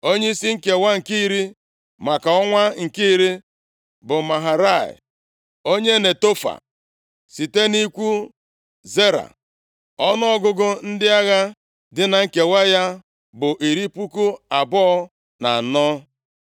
Onyeisi nkewa nke iri, maka ọnwa nke iri bụ Maharai onye Netofa, site nʼikwu Zera. Ọnụọgụgụ ndị agha dị na nkewa ya bụ iri puku abụọ na anọ (24,000).